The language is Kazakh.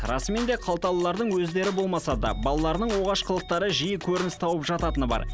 расымен де қалталылардың өздері болмаса да балаларының оғаш қылықтары жиі көрініс тауып жататыны бар